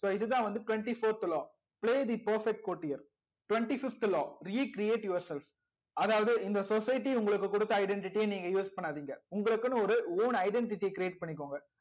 so இதுதா வந்து twenty fourth law play the perfect quotior twenty fifth law recreate yourself அதாவது இந்த society உங்களுக்கு கொடுத்த identity நீங்க use பண்ணாதிங்க உங்களுக்குனு ஒரு own identity create பண்ணிகோங்க